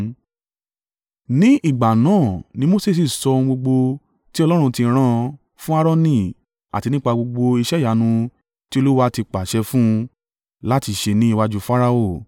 Ní ìgbà náà ni Mose sì sọ ohun gbogbo tí Ọlọ́run ti rán fún Aaroni àti nípa gbogbo iṣẹ́ ìyanu tí Olúwa ti pàṣẹ fún un láti ṣe ní iwájú Farao.